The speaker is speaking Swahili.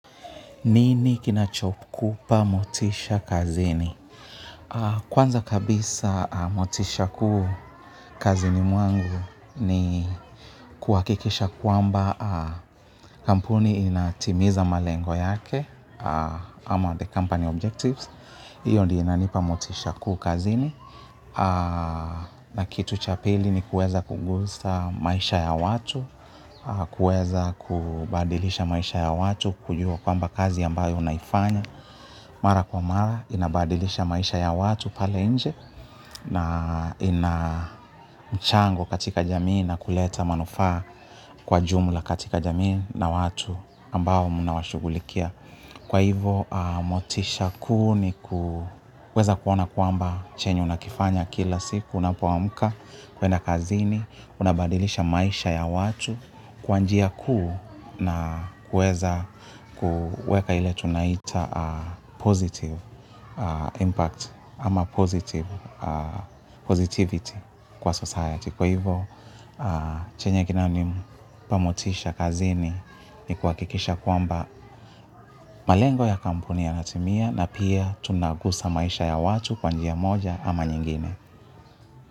Nini kinachokupa motisha kazini? Kwanza kabisa motisha kuu kazini mwangu ni kuwakikisha kwamba kampuni inatimiza malengo yake ama the company objectives. Iyo ndio inanipa motisha kuu kazini. Na kitu cha pili ni kuweza kugusa maisha ya watu, kuweza kubadilisha maisha ya watu, kujua kwamba kazi ambayo unaifanya, mara kwa mara, inabadilisha maisha ya watu pale nje. Na ina mchango katika jamii na kuleta manufaa kwa jumla katika jamii na watu ambao munawashughulikia. Kwa hivo, motisha kuu ni kuweza kuona kwamba chenye unakifanya kila siku, unapoamuka, kwenda kazini, unabadilisha maisha ya watu kwa njia kuu na kuweza kuweka ile tunaita positive impact ama positive Positivity kwa society. Kwa hivyo, chenye kinani pamotisha kazini ni kuhakikisha kwamba malengo ya kampuni yanatimia na pia tunagusa maisha ya watu kwa njia moja ama nyingine.